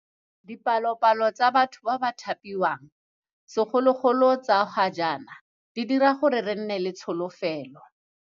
Dipalopalo tsa batho ba ba thapiwang, segolobogolo tsa ga jaana, di dira gore re nne le tsholofelo.